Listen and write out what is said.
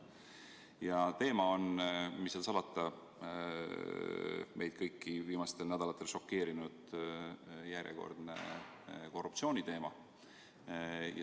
Ja teema on, mis seal salata, meid kõiki viimastel nädalatel šokeerinud järjekordne korruptsioonijuhtum.